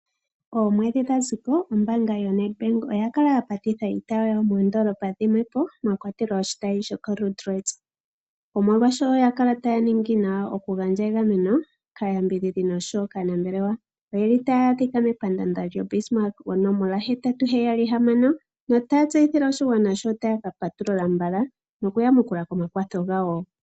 Omweedhi dha ziko ombaanga yoNEDBANK oya kala ya patitha iitayi yawo moondolopa dhimwe po mwa kwatelwa oshitayi shoko Luderitz omolwa sho oya kala taa ningi nawa oku gandja egameno oshowo kàyambidhidhi oshowo kaanambelewa